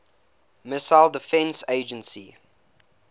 missile defense agency